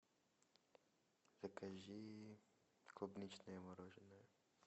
закажи клубничное мороженое